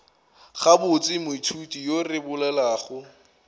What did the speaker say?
gabotse moithuti yo re bolelago